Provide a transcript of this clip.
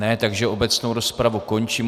Ne, takže obecnou rozpravu končím.